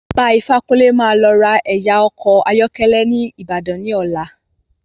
Baba ifákúnlé máa lọ ra ẹ̀yà ọkọ̀ ayọ́kẹ́lẹ́ ni Ìbàdàn ní ọ̀la.